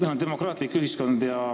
Meil on demokraatlik ühiskond.